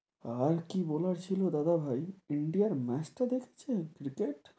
আর কি বলার ছিল দাদাভাই ইন্ডিয়ার match টা দেখছেন ক্রিকেট?